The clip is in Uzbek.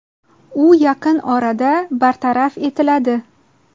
U yaqin orada bartaraf etiladi.